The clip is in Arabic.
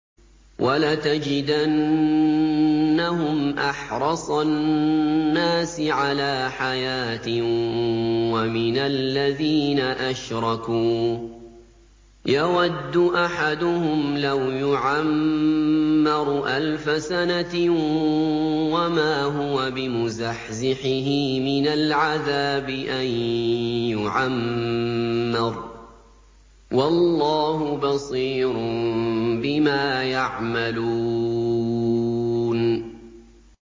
وَلَتَجِدَنَّهُمْ أَحْرَصَ النَّاسِ عَلَىٰ حَيَاةٍ وَمِنَ الَّذِينَ أَشْرَكُوا ۚ يَوَدُّ أَحَدُهُمْ لَوْ يُعَمَّرُ أَلْفَ سَنَةٍ وَمَا هُوَ بِمُزَحْزِحِهِ مِنَ الْعَذَابِ أَن يُعَمَّرَ ۗ وَاللَّهُ بَصِيرٌ بِمَا يَعْمَلُونَ